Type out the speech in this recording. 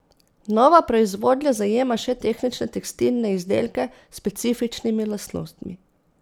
Nova proizvodnja zajema še tehnične tekstilne izdelke s specifičnimi lastnostmi.